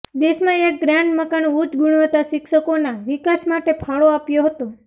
દેશમાં એક ગ્રાન્ડ મકાન ઉચ્ચ ગુણવત્તા શિક્ષકોના વિકાસ માટે ફાળો આપ્યો હતો